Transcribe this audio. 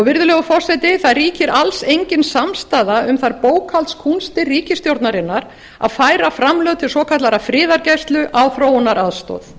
virðulegur forseti það ríkir alls engin samstaða um þær bókhaldskúnstir ríkisstjórnarinnar að færa framlög til svokallaðrar friðargæslu á þróunaraðstoð